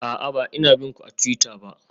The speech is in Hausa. A'a, ba ina bin ku a twitter ba.